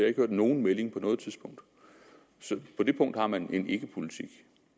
ikke hørt nogen melding på noget tidspunkt så på det punkt har man side en ikkepolitik